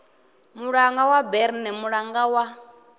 mulanga wa berne mulanga wa